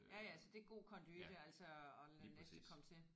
Ja ja så det er god konduite altså at lade næste komme til